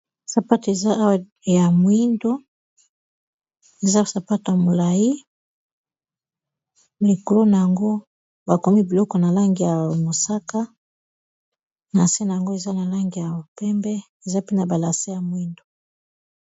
Sapato eza awa ya moyindo eza sapato ya molayi likolo nango bakomi biloko na langi ya mosaka na se nango eza na langi ya pembe eza pe na ba lase ya mwindu.